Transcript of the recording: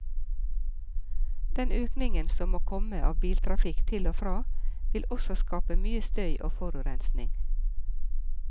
Den økningen som må komme av biltrafikk til og fra, vil også skape mye støy og forurensning.